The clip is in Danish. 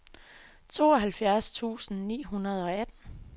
tooghalvfjerds tusind ni hundrede og atten